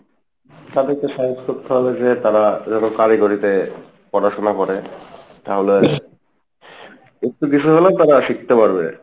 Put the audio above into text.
তাদের কে support করতে হবে যে তারা যেনো কারিগরি তে পড়াশোনা করে তাহলে একটু কিসু হলেও তারা শিখতে পারবে